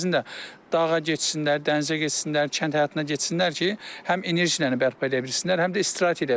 Əvəzində dağa getsinlər, dənizə getsinlər, kənd həyatına getsinlər ki, həm enerjini bərpa eləyə bilsinlər, həm də istirahət eləyə bilsinlər.